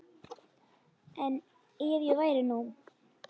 En ef ég væri nú.